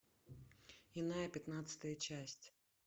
иная пятнадцатая часть